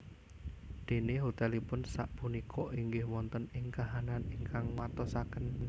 Déné hotelipun sak punika inggih wonten ing kahanan ingkang nguatosaken